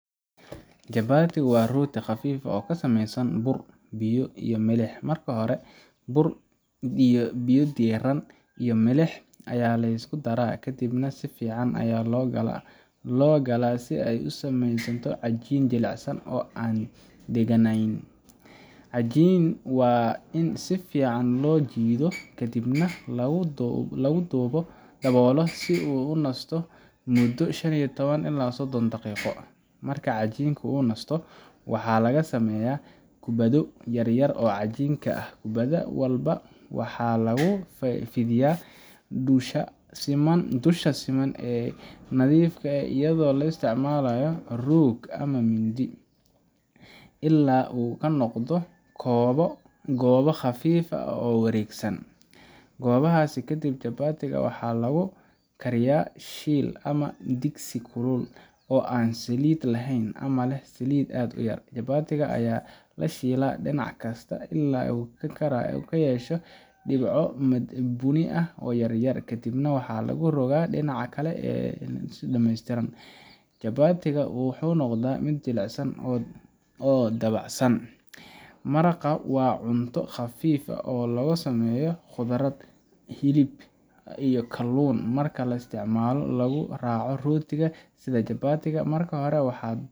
Chapati waa rooti khafiif ah oo ka samaysan bur, biyo, iyo milix. Marka hore, bur, biyo diirran, iyo milix ayaa la isku daraa, kadibna si fiican ayaa loo galaa si ay u sameysanto cajiin jilicsan oo aanan dhegganayn. Cajiinka waa in si fiican loo jiido, kadibna lagu daboolo si uu u nasto muddo shan iyo toban ilaa sodon daqiiqo. Marka cajiinka uu nasto, waxaa laga sameeyaa kubbado yaryar oo cajiinka ah. Kubbad walba waxaa lagu fidiyaa dusha siman ee nadiifka ah iyadoo la isticmaalayo roog ama mindi, ilaa uu ka noqdo goobo khafiif ah oo wareegsan. Goobahaas kadib, Chapati ga waxaa lagu kariyaa shiil ama digsi kulul oo aan saliid lahayn ama leh saliid aad u yar. Chapati ga ayaa la shiilaa dhinac kasta ilaa uu ka yeesho dhibco bunni ah oo yar yar, kadibna waa la rogtaa dhinaca kale ilaa uu dhammeystirmo. Chapati ga waa in uu noqdaa mid jilicsan oo dabacsan. Maraq waa cunto khafiif ah oo laga sameeyo khudaar, hilib, ama kaluun, waxaana loo isticmaalaa in lagu raaco rootiga sida Chapati ga. Marka hore, waxaad